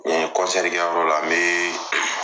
Nin kɛyɔrɔ la n bɛ